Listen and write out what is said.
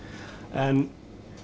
en